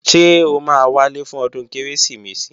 Ṣé o máa wálé fún ọdún Kérésìmesì?